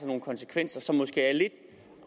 nogle konsekvenser som måske er lidt